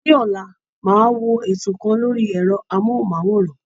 Ní ọ̀la, màá wo ètò kan lórí ẹ̀rọ-amóhùnmáwòrán.